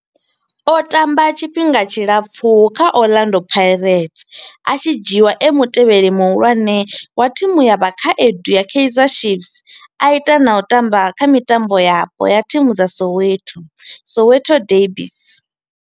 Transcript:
O tamba tshifhinga tshilapfhu kha Orlando Pirates, a tshi dzhiiwa e mutevheli muhulwane wa thimu ya vhakhaedu ya Kaizer Chiefs, a ita na u tamba kha mitambo yapo ya thimu dza Soweto Soweto derbies.